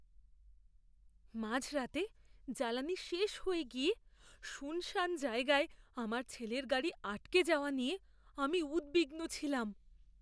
মাঝরাতে জ্বালানি শেষ হয়ে গিয়ে শুনশান জায়গায় আমার ছেলের গাড়ি আটকে যাওয়া নিয়ে আমি উদ্বিগ্ন ছিলাম।